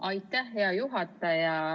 Aitäh, hea juhataja!